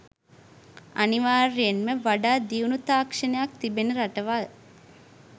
අනිවාර්යයෙන්ම වඩා දියුණු තාක්ෂණයක් තිබෙන රටවල්